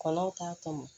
Kɔnɔw t'a tɔmɔ